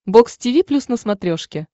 бокс тиви плюс на смотрешке